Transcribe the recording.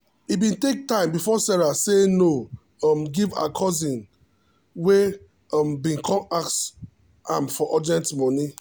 e bin take time before sarah say no um give her cousin wey um bin come ask am for urgent moni